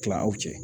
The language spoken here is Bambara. Kila aw cɛ